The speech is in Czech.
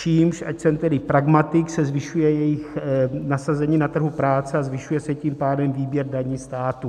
Čímž, ať jsem tedy pragmatik, se zvyšuje jejich nasazení na trhu práce a zvyšuje se tím pádem výběr daní státu.